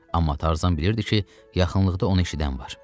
Amma Tarzan bilirdi ki, yaxınlıqda onu eşidən var.